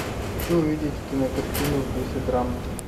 хочу увидеть кинокартину в духе драмы